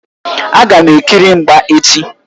Agam ekiri mgba echi.